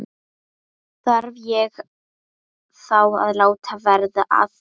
Þarf ég þá að láta verða að því?